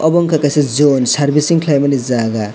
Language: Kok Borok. obo ungka kaisa zone servecing kelaimani jaga.